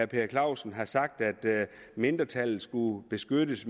per clausen har sagt at mindretallet skulle beskyttes